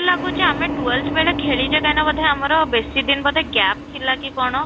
ଲାଗୁଛି ଆମେ twelfth ବେଳେ ଖେଳିଛେ କାଇନା ବୋଧେ ଆମର ବେଶୀ ଦିନ ବୋଧେ gap ଥିଲା କି କ'ଣ?